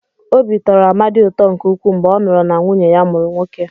Obi tọrọ Amadi ụtọ nke ukwuu mgbe ọ nụrụ na nwunye ya mụrụ nwoke.